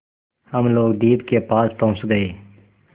हम लोग द्वीप के पास पहुँच गए